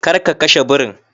Kar ka kashe birin!